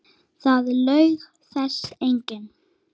Það laug þessu enginn.